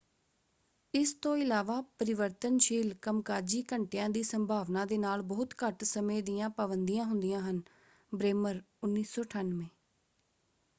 ਇਸ ਤੋਂ ਇਲਾਵਾ ਪਰਿਵਰਤਨਸ਼ੀਲ ਕੰਮਕਾਜੀ ਘੰਟਿਆਂ ਦੀ ਸੰਭਾਵਨਾ ਦੇ ਨਾਲ ਬਹੁਤ ਘੱਟ ਸਮੇਂ ਦੀਆਂ ਪਾਬੰਦੀਆਂ ਹੁੰਦੀਆਂ ਹਨ। ਬ੍ਰੇਮਰ 1998